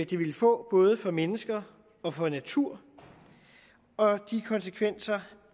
det ville få både for mennesker og for natur og de konsekvenser